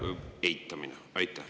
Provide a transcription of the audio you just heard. … selle eitamine?